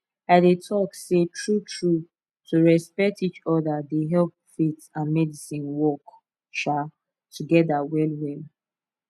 i dey talk sey truetrue to respect each other dey help faith and medicine work um together well well